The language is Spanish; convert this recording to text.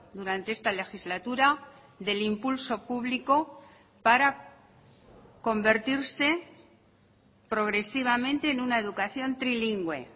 durante esta legislatura del impulso público para convertirse progresivamente en una educación trilingüe